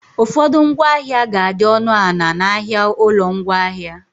Ụfọdụ ngwaahịa ga adị ọnụ ana na ahịa ụlọ ngwaahịa